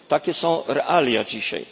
Takie są realia dzisiaj.